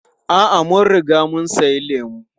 A'a, mun riga mun sami lemu.